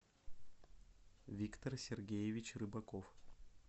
виктор сергеевич рыбаков